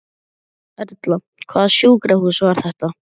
Erla: Hvaða sjúkrahús var þetta?